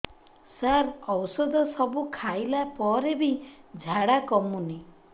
ସାର ଔଷଧ ସବୁ ଖାଇଲା ପରେ ବି ଝାଡା କମୁନି